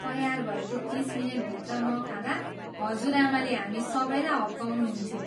तयार भएको तिस मिनेटभित्र नखाँदा हजुरआमाले हामी सबैलाई हप्काउनुहुन्थ्यो।